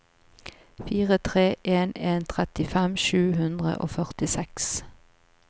fire tre en en trettifem sju hundre og førtiseks